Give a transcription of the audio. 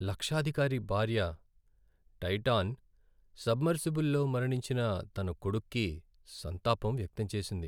లక్షాధికారి భార్య Titan submersible లో మరణించిన తన కొడుక్కి సంతాపం వ్యక్తం చేసింది.